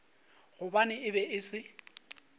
gobane e be e se